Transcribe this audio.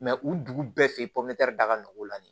u dugu bɛɛ fɛ yen da ka nɔgɔ o la nin